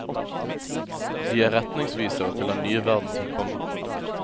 De er retningsvisere til den nye verden som kommer.